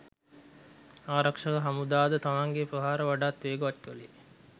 ආරක්ෂක හමුදා ද තමන්ගේ ප්‍රහාර වඩාත් වේගවත් කළේය.